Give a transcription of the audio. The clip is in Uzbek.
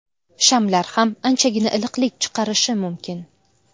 Shamlar ham anchagina iliqlik chiqarishi mumkin.